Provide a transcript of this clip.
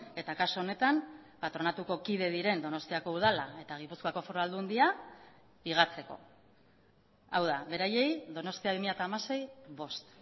eta kasu honetan patronatuko kide diren donostiako udala eta gipuzkoako foru aldundia higatzeko hau da beraiei donostia bi mila hamasei bost